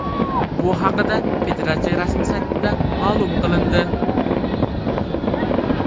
Bu haqida federatsiya rasmiy saytida ma’lum qilindi .